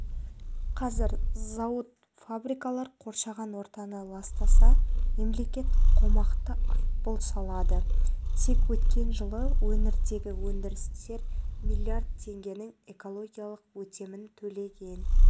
қазір зауыт-фабрикалар қоршаған ортаны ластаса мемлекет қомақты айыппұл салады тек өткен жылы өңірдегі өндірістер миллиард теңгенің экологиялық өтемін төлеген